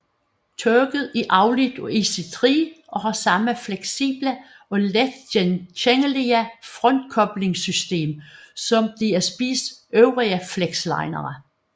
Toget er afledt af IC3 og har samme fleksible og let genkendelige frontkoblingssystem som DSBs øvrige flexlinere